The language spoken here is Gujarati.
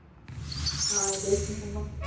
હા દશમામા.